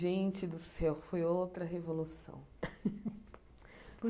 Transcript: Gente do céu, foi outra revolução.